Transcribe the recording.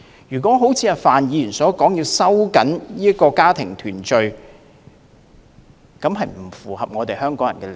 如果一如范議員所建議收緊家庭團聚的配額，並不符合香港人的利益。